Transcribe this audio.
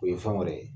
O ye fɛn wɛrɛ ye